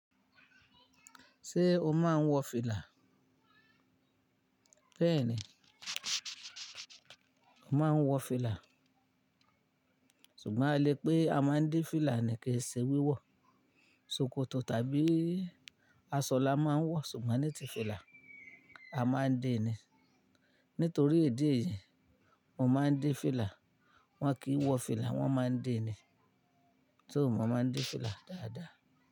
Ṣé o máa ń wọ fìlà? Bẹ́ẹ̀ni, mo máa ń wọ fìlà. Ṣùgbọ́n a lè pé a máa ń dé fìlà nì, kii se wíwọ̀, ṣòkòtò tàbí aṣọ la máa ń wọ, ṣùgbọ́n ní ti fìlà, a máa ń dé ni. Nítorí ìdí èyí, mo máa ń dé fìlà. Wọn kì í wọ fìlà, wón máa ń dé ni. Tóo, mo máa ń dé fìlà dáadáa.